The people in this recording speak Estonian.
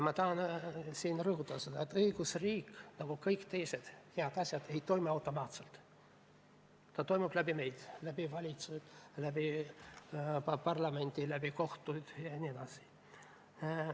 Ma tahan siinkohal rõhutada seda, et õigusriik nagu ka kõik teised head asjad ei toimi automaatselt, ta toimib läbi meie – läbi valitsuse, läbi parlamendi, läbi kohtute jne.